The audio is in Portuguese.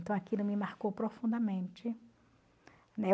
Então aquilo me marcou profundamente, né?